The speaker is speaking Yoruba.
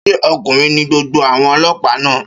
Ṣé ọkùnrin ní gbogbo àwọn ọlọ́pàá náà?